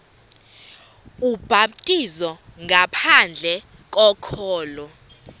ubhaptizo ngaphandle kokholo